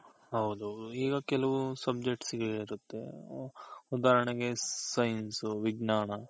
ಹೌದು ಈಗ ಕೆಲ್ವೊಂದ್ subject ಗಳಿರುತ್ತೆ ಉದಾಹರಣೆಗೆ Science, ವಿಜ್ಞಾನ